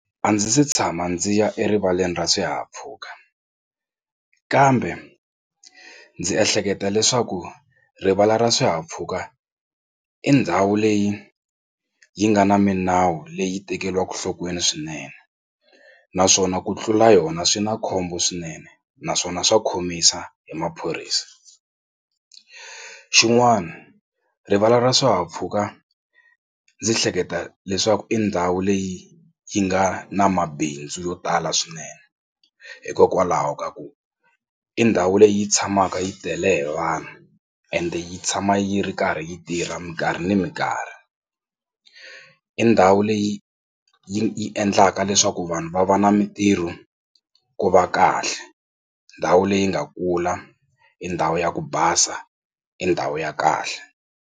A ndzi se tshama ndzi ya erivaleni ra swihahampfhuka kambe ndzi ehleketa leswaku rivala ra swihahampfhuka i ndhawu leyi yi nga na minawu leyi tekeriwaka nhlokweni swinene naswona ku tlula yona swi na khombo swinene naswona swa khomisa hi maphorisa. Xin'wana rivala ra swihahampfhuka ndzi hleketa leswaku i ndhawu leyi yi nga na mabindzu yo tala swinene hikokwalaho ka ku i ndhawu leyi tshamaka yi tele hi vanhu ende yi tshama yi ri karhi yi tirha mikarhi na mikarhi i ndhawu leyi yi endlaka leswaku vanhu va va na mitirho ku va kahle ndhawu leyi nga kula i ndhawu ya ku basa i ndhawu ya kahle.